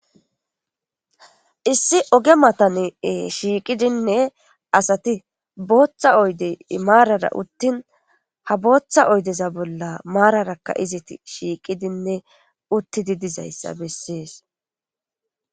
Issi oge matanee shiiqidinne asati booththa oydey maarara uttin ha booththa oydeza bolla maararakka izit shiiqidinne uttidi dizayssa bessees.